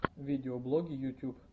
видеоблоги ютуб